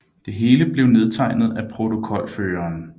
Det hele blev nedtegnet af protokolføreren